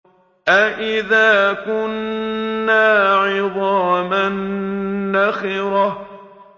أَإِذَا كُنَّا عِظَامًا نَّخِرَةً